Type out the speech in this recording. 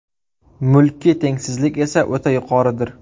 Mulkiy tengsizlik esa o‘ta yuqoridir.